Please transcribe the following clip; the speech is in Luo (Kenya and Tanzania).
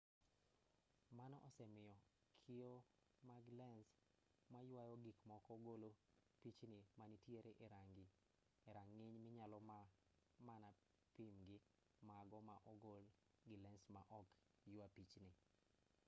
mano osemiyo kio mag lens mayuayo gikmoko golo pichni manitiere e rang'iny minyalo mana pim gi mago ma ogol gi lens ma ok yua pichni